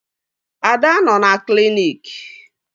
Ada nọ na kliniki